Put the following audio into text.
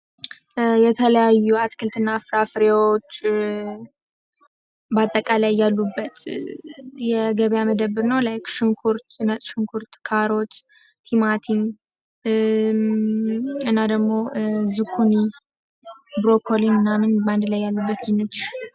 የተለያዩ አትክልት እና ፍራፍሬዎች አጠቃላይ ያሉበት የገበያ ማዕከል ነው። ላይክ ሽንኩርት ፣ነጭ ሽንኩርት ፣ካሮት ፣ቲማቲም እና ደግሞ ዝኩኒ ፣ብሮኮሊ ምናም በአንድ ላይ ያሉበት።